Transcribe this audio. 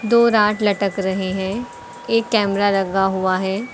दो रॉड लटक रहे हैं एक कैमरा लगा हुआ है।